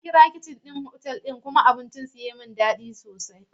Na kira kicin ɗin otal ɗin kuma abinci su ya yi min daɗi sosai.